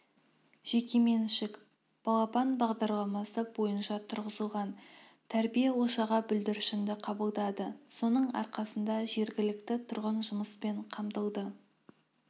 жекеменшік балапан бағдарламасы бойынша тұрғызылған тәрбие ошағы бүлдіршінді қабылдады соның арқасында жергілікті тұрғын жұмыспен қамтылды